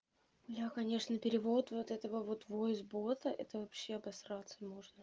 бля конечно перевод вот этого вот войс бота это вообще обосраться можно